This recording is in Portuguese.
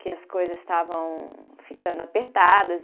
Que as coisas estavam ficando apertadas.